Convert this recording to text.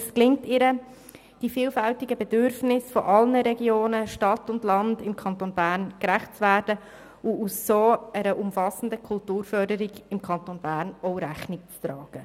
Es gelingt ihr, den vielfältigen Bedürfnissen von Stadt und Land gerecht zu werden und so zu einer umfassenden Kulturförderung im Kanton Bern zu führen.